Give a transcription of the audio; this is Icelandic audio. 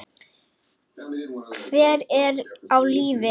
Hver er á lífi?